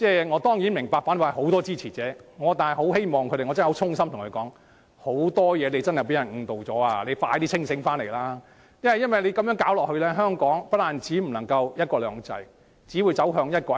我當然明白反對派有很多支持者，但我想衷心對他們說，他們在很多事情上也被誤導了，必須盡快清醒過來，因為再這樣下去，香港將不會再有"一國兩制"，只會走向"一國一制"。